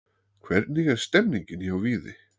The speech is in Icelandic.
Hvernig er stemningin hjá Víði?